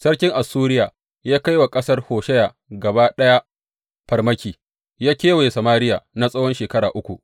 Sarkin Assuriya ya kai wa ƙasar Hosheya gaba ɗaya farmaki, ya kewaye Samariya na tsawon shekara uku.